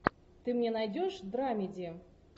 ты мне найдешь драмеди